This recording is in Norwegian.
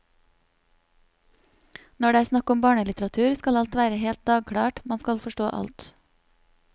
Når det er snakk om barnelitteratur, skal alt være helt dagklart, man skal forstå alt.